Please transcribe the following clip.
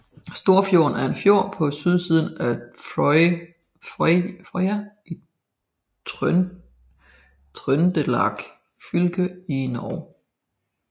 Storfjorden er en fjord på sydsiden af Frøya i Trøndelag fylke i Norge